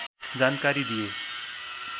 जानकारी दिए